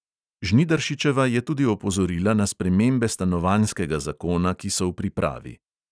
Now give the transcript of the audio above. Žnidaršičeva je tudi opozorila na spremembe stanovanjskega zakona, ki so v pripravi.